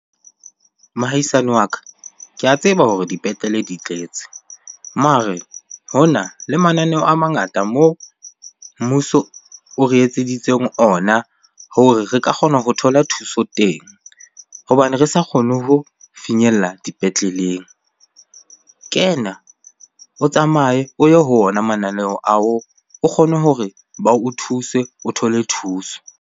Mohahisani wa ka, ke a tseba hore dipetlele di tletse mare hona le mananeo a mangata moo mmuso o re etseditseng ona hore re ka kgona ho thola thuso thuso teng hobane re sa kgone ho finyella dipetleleng. Kena o tsamaye o ye ho ona mananeo ao o kgone hore ba o thuse, o thole thuso.